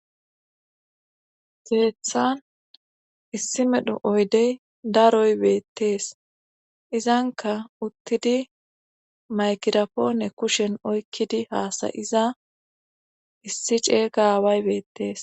Keethan issi medho oydey daroy beettees izanka uttidi maykirapoone kushen oykkidi haasayiza issi ceey gaaway beettees.